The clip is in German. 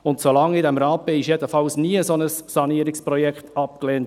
Zumindest seit ich in diesem Rat bin, wurde nie ein solches Sanierungsprojekt abgelehnt.